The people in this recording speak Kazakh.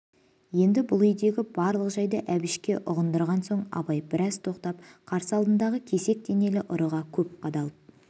енді бұл үйдегі барлық жайды әбішке ұғындырған соң абай біраз тоқтап қарсы алдындағы кесек денелі ұрыға көп қадалып